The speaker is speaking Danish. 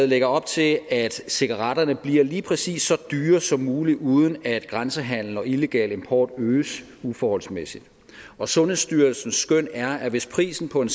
lægger op til at cigaretterne bliver lige præcis så dyre som muligt uden at grænsehandelen og illegal import øges uforholdsmæssigt og sundhedsstyrelsens skøn er at hvis prisen på en